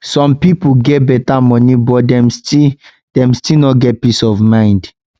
some pipo get beta money but dem still dem still no get peace of mind